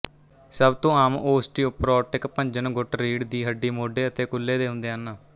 ਸਭ ਤੋਂ ਆਮ ਓਸਟੀਓਪਰੋਟਿਕ ਭੰਜਨ ਗੁੱਟ ਰੀੜ੍ਹ ਦੀ ਹੱਡੀ ਮੋਢੇ ਅਤੇ ਕੁੱਲ੍ਹੇ ਦੇ ਹੁੰਦੇ ਹਨ